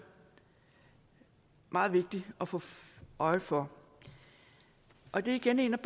meget vigtigt at få få øje for og det er igen en